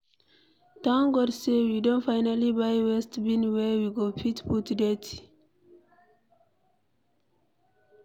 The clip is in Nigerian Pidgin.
Thank God say we don finally buy waste bin where we go fit put dirty.